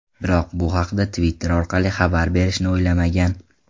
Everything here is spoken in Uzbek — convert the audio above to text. Biroq bu haqda Twitter orqali xabar berishni o‘ylamagan.